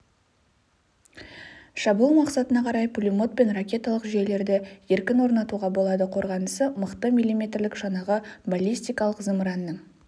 шабуыл мақсатына қарай пулемет пен ракеталық жүйелерді еркін орнатуға болады қорғанысы мықты миллиметрлік шанағы баллистикалық зымыранның